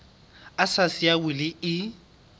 a sa siya wili e